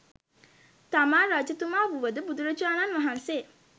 තමා රජතුමා වුවද බුදුරජාණන් වහන්සේ